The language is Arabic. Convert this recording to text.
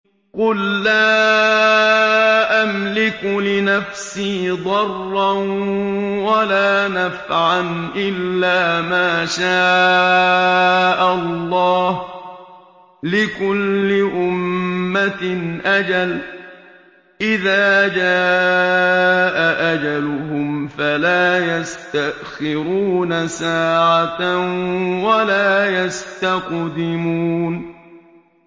قُل لَّا أَمْلِكُ لِنَفْسِي ضَرًّا وَلَا نَفْعًا إِلَّا مَا شَاءَ اللَّهُ ۗ لِكُلِّ أُمَّةٍ أَجَلٌ ۚ إِذَا جَاءَ أَجَلُهُمْ فَلَا يَسْتَأْخِرُونَ سَاعَةً ۖ وَلَا يَسْتَقْدِمُونَ